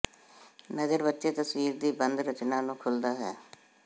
ਨਜ਼ਰ ਬੱਚੇ ਤਸਵੀਰ ਦੀ ਬੰਦ ਰਚਨਾ ਨੂੰ ਖੁੱਲਦਾ ਹੈ